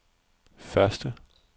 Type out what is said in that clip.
første